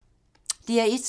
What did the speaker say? DR1